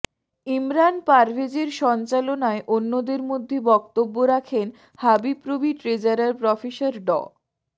ইমরান পারভেজের সঞ্চালনায় অন্যদের মধ্যে বক্তব্য রাখেন হাবিপ্রবি ট্রেজারার প্রফেসর ড